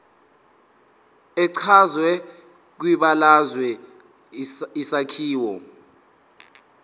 echazwe kwibalazwe isakhiwo